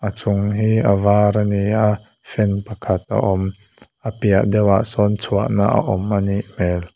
a chung hi a var ani a fan pakhat a awm a piah deuh ah sawn chhuah na a awm anih hmel.